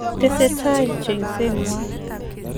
Tese tai cheng'seng'wa.